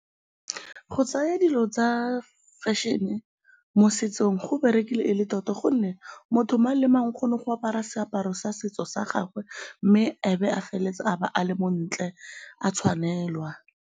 Go tsaya dilo tsa fashion-e mo setsong go berekile e le tota gonne motho mang le mang o kgona go apara seaparo sa setso sa gagwe mme ebe a feleletsa a ba a le montle, a tshwanelwa.